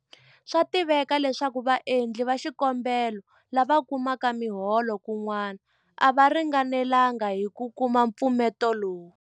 Swa tiveka leswaku vaendli va xikombelo lava kumaka miholo kun'wana a va ringanelanga hi ku kuma mpfuneto lowu.